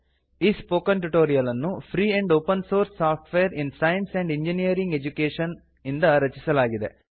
ಈ spoken tutorial ನ್ನು free and open source software in science and engineering education ಇಂದ ರಚಿಸಲಾಗಿದೆ